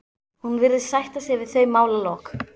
Hún virðist sætta sig við þau málalok.